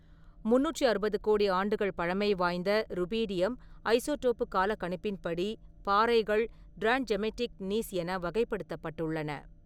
முந்நூற்று அறுபது கோடி ஆண்டுகள் பழமை வாய்ந்த, ருபீடியம் ஐசோடோப்புக் காலக்கணிப்பின்படி, பாறைகள் டிராண்ட்ஜெமெய்டிக் க்னீஸ் என வகைப்படுத்தப்பட்டுள்ளன.